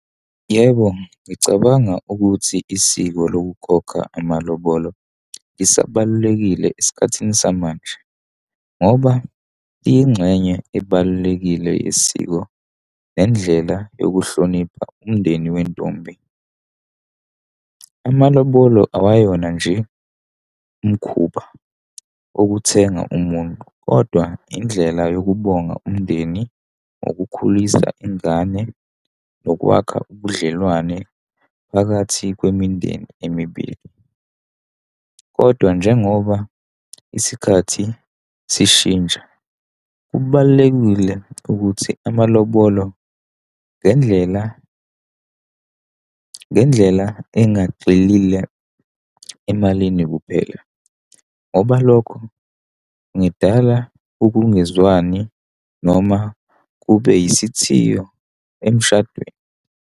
Yebo, ngicabanga ukuthi isiko lokukhokha amalobolo lisabalulekile esikhathini samanje, ngoba liyingxenye ebalulekile yesiko nendlela yokuhlonipha umndeni wentombi. Amalobolo awayona nje umkhuba okuthenga umuntu, kodwa indlela yokubonga umndeni ngokukhulisa ingane nokwakha ubudlelwane phakathi kwemindeni emibili. Kodwa, njengoba isikhathi sishintsha, kubalulekile ukuthi amalobolo ngendlela, ngendlela engagxilile emalini kuphela. Ngoba lokho ngidala ukungezwani noma kube isithiyo emshadweni.